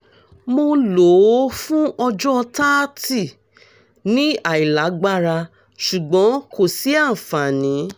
mo lo o fun ọjọ 30 ni ailagbara ṣugbọn ko si anfani